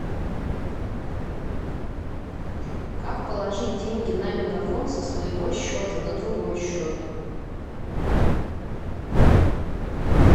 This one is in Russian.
как положить деньги на мегафон со своего счета на другой счет